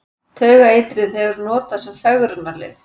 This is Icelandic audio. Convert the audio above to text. Taugaeitrið hefur verið notað sem fegrunarlyf.